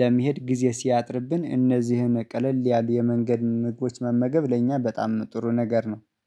ለመሄድ ጊዜ ሲያጥርብን እነዚህን ቀለል ያሉ የመንገድ ምግቦች መመገብ ለእኛ በጣም ጥሩ ነገር ነው